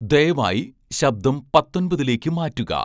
ദയവായി ശബ്ദം പത്തൊൻപതിലേക്ക് മാറ്റുക